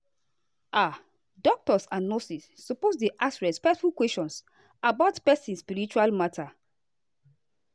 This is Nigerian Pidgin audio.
ah doctors and nurses suppose dey ask respectful questions about person spiritual matter.